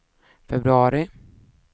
februari